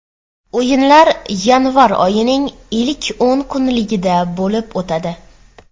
O‘yinlar yanvar oyining ilk o‘n kunligida bo‘lib o‘tadi.